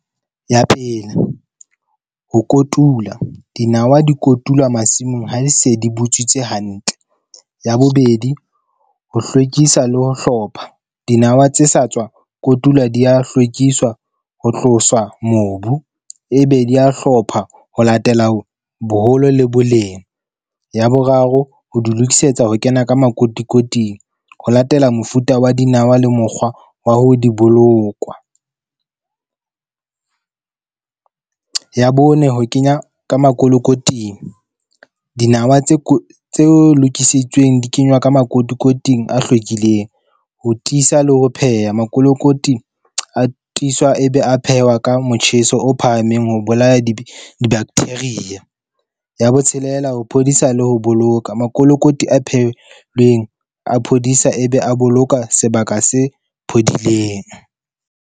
Ya pele ho kotula dinawa di kotulwa masimong, ha di se di butswitse hantle. Ya bobedi, ho hlwekisa le ho hlopha. Dinawa tse sa tswa kotulwa di ya hlwekiswa ho tloswa mobu e be di ya hlopha ho latela ho boholo le boleng. Ya boraro ho di lokisetsa ho kena ka makotikoting, ho latela mofuta wa dinawa le mokgwa wa ho di bolokwa. Ya bone, ho kenya ka makolokoting. Dinawa tse tse lokisitsweng di kenywa ka makotikoting a hlwekileng, ho tiisa le ho pheha makolokoting a tiswa ebe a phehwa ka motjheso o phahameng, ho bolaya di-bacteria. Ya botshelela, ho phodisa le ho boloka. Makolokoti a phehilweng a phodisa, ebe a boloka sebaka se phodileng.